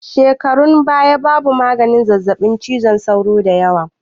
A shekarun baya babu maganin zazzaɓin cizon sauro dayawa